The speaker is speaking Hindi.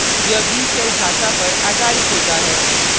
* यह b shell भाषा पर आधारित होता है